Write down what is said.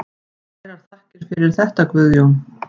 Kærar þakkir fyrir þetta Guðjón.